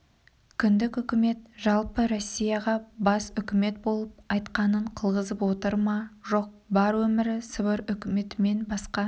кіндік үкімет жалпы россияға бас үкімет болып айтқанын қылғызып отыр ма жоқ бар өмірі сібір үкіметімен басқа